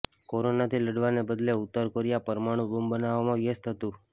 કોરોનાથી લડવાને બદલે ઉત્તર કોરિયા પરમાણુ બોંબ બનાવવામાં વ્યસ્ત હતું